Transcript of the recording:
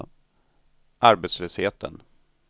arbetslösheten